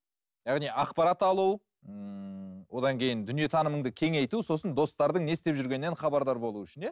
яғни ақпарат алу ммм одан кейін дүние танымыңды кеңейту сосын достардың не істеп жүргенінен хабардар болу үшін иә